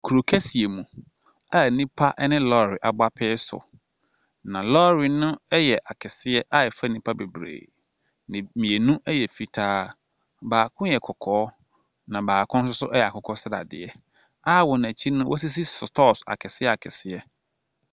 Kuro kɛseɛ mu a nnipa ne lɔɔre abɔ apee so, na lɔɔre no yɛ akɛseɛ a ɛfa nipa bebree. Me mmienu yɛ fitaa, baako yɛ kɔkɔɔ na baako yɛ akokɔsradeɛ a wɔn akyi no, wɔasisi sotɔɔse akɛseɛ akɛseɛ.